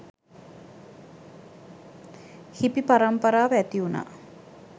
Hippie පරම්පරාව ඇතිවුණා.